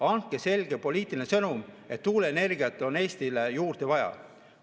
Andke selge poliitiline sõnum, et tuuleenergiat on Eestile juurde vaja.